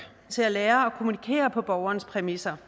til at lære at kommunikere på borgerens præmisser